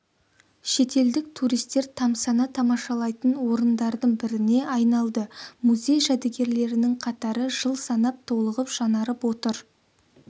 шетелдік туристер тамсана тамашалайтын орындардың біріне айналды музей жәдігерлерінің қатары жыл санап толығып жаңарып отыр